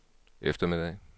eftermiddag